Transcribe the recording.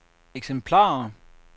eksemplarer